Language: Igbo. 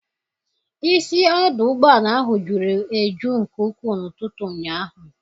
Isi ọdụ ụgbọala ahụ juru eju nke ukwuu n'ụtụtụ ụnyaahụ